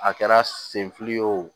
A kɛra sen fili ye o